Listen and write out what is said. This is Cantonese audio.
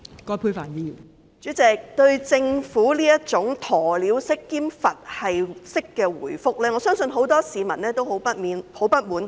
代理主席，對於政府這種鴕鳥式和"佛系式"的答覆，我相信很多市民感到相當不滿及不會接受。